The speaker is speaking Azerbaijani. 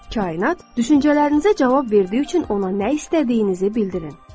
Kainat düşüncələrinizə cavab verdiyi üçün ona nə istədiyinizi bildirin.